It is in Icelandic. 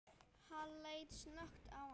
Hann leit snöggt á hana.